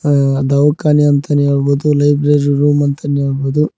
ಅ ದವಕಾನೆ ಅಂತನೇ ಹೇಳಬೊದು ಲೈಬ್ರರಿ ರೂಮ್ ಅಂತನೇ ಹೇಳಬೊದು.